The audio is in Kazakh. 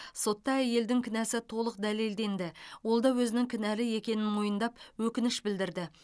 сотта әйелдің кінәсі толық дәлелденді ол да өзінің кінәлі екенін мойындап өкініш білдірді